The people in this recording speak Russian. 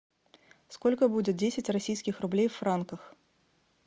сколько будет десять российских рублей в франках